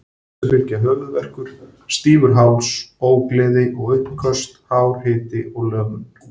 Þessu fylgja höfuðverkur, stífur háls, ógleði og uppköst, hár hiti og lömun.